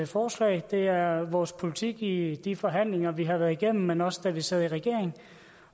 forslag det er vores politik i de forhandlinger vi har været igennem men også da vi sad i regering